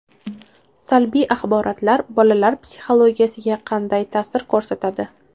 Salbiy axborotlar bolalar psixologiyasiga qanday ta’sir ko‘rsatadi?.